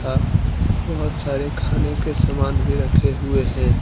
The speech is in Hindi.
अह बहुत सारे खाने के सामान भी रखे हुए हैं।